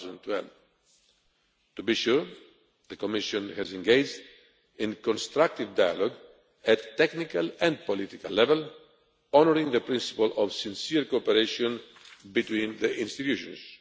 2012. To be sure, the Commission has engaged in constructive dialogue, at technical and political level, honouring the principle of sincere cooperation between the institutions.